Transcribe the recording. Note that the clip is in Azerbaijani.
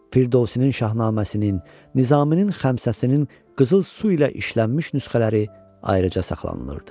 Firdovsinin Şahnaməsinin, Nizaminin Xəmsəsinin qızıl su ilə işlənmiş nüsxələri ayrıca saxlanılırdı.